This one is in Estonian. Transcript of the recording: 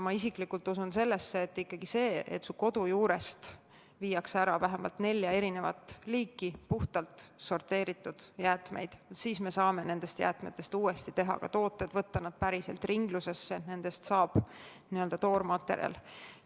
Ma isiklikult usun sellesse, et kui su kodu juurest viiakse ära vähemalt nelja erinevat liiki puhtalt sorteeritud jäätmeid, siis me saame nendest jäätmetest uuesti tooteid teha, võtta nad päriselt ringlusesse, et nendest saab n-ö toormaterjal.